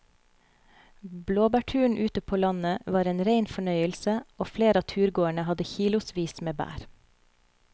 Blåbærturen ute på landet var en rein fornøyelse og flere av turgåerene hadde kilosvis med bær.